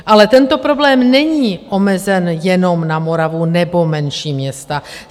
Ale tento problém není omezen jenom na Moravu nebo menší města.